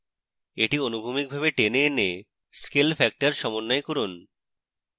এটি অনুভূমিকভাবে টেনে এনে scale factor সমন্বয় করুন